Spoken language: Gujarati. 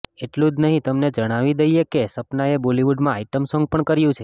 એટલું જ નહીં તમને જણાવી દઈએ કે સપનાએ બોલિવુડમાં આઈટમ સોન્ગ પણ કર્યું છે